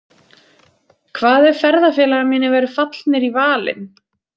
Hvað ef ferðafélagar mínir væru fallnir í valinn?